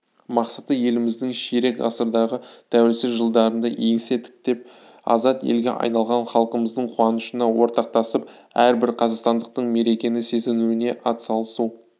мақсаты еліміздің ширек ғасырдағы тәуелсіздік жылдарында еңсе тіктеп азат елге айналған халқымыздың қуанышына ортақтасып әрбір қазақстандықтың мерекені сезінуіне атсалысу